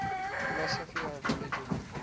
philosophy of religion